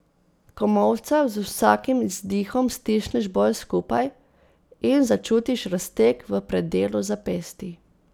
Komolca z vsakim izdihom stisneš bolj skupaj in začutiš razteg v predelu zapestij.